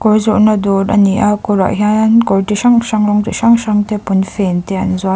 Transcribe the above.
kawi zawrhna dâwr a ni a kawrah hian kawr ti hrang hrang rawng chi hrang hrangte pawnfên te an zuar--